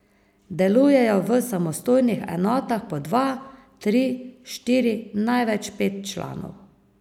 Delujejo v samostojnih enotah po dva, tri, štiri, največ pet članov.